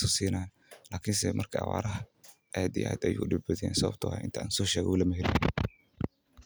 fican yahay lakin marka uu awaar jirto waay adag Tahay.